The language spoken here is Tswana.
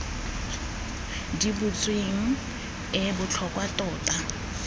di butsweng e botlhokwa tota